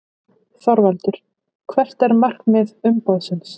ÞORVALDUR: Hvert er markmið umboðsins?